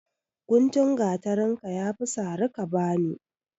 Guntun gatarin ka ya fi sari ka bani!